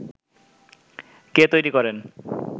কে তৈরী করেন